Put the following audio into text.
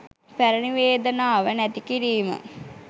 පැරැණි වේදනාව නැති කිරීම